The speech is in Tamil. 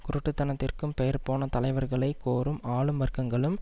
குருட்டுத்தனத்திற்கும் பெயர் போன தலைவர்களை கோரும் ஆளும் வர்க்கங்களும்